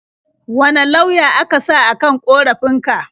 Wane lauya aka sa a kan ƙorafin ka?